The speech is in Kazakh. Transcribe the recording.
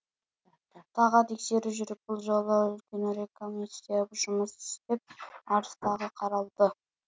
тағы тексеру жүріп бұл жолы үлкенірек комиссия жұмыс істеп арыз тағы қаралды